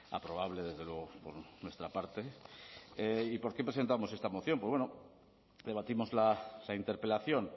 aprobable desde luego por nuestra parte y por qué presentamos esta moción pues bueno debatimos la interpelación